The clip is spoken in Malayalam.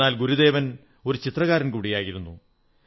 എന്നാൽ ഗുരുദേവൻ ഒരു ചിത്രകാരൻ കൂടിയായിരുന്നു